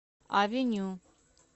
авеню